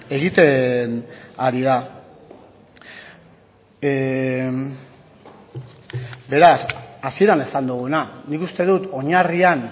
egiten ari da beraz hasieran esan duguna nik uste dut oinarrian